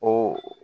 O